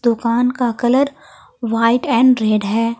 दुकान का colour white and red है।